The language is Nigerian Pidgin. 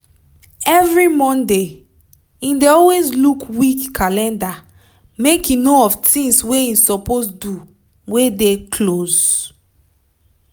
every monday him dey always look week calendar make him know of tinz wey him suppose do wey dey close